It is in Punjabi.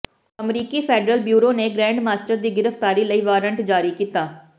ਅਮਰੀਕੀ ਫੈਡਰਲ ਬਿਊਰੋ ਨੇ ਗ੍ਰੈਂਡਮਾਸਟਰ ਦੀ ਗ੍ਰਿਫਤਾਰੀ ਲਈ ਵਾਰੰਟ ਜਾਰੀ ਕੀਤਾ